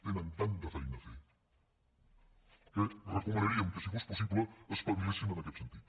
tenen tanta feina a fer que recomanaríem que si fos possible espavilessin en aquest sentit